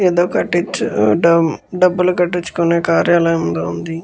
ఏదో కట్టించు డబ్బులు కట్టించుకునే కార్యాలయం లాగా ఉంది.